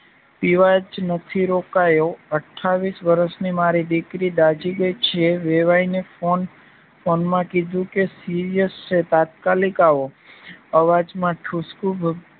પીવા જ નથી રોકાયો અઠાવીશ વર્ષની મારી દીકરી દાઝી ગઇ છે વેવાઈને ફોન ફોન માં કીધું કે શિરયાસ છે તાત્કાલિક આવો અવાજમાં ઠુસકુ